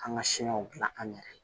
An ka siɲɛw dilan an yɛrɛ ye